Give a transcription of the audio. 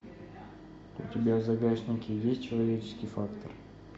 у тебя в загашнике есть человеческий фактор